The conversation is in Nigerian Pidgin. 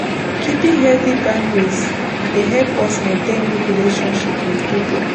Keeping healthy boundries dey help us maintain good relationship with pipo